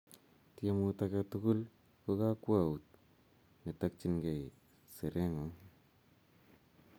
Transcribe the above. Tiemut age tugul ko kakwout ne takchinikei serengung